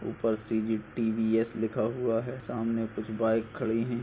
उपर C G T V S लिखा हुआ है सामने कुछ बाइक खड़ी है ।